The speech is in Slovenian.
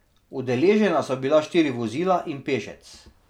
Udeležena so bila štiri vozila in pešec.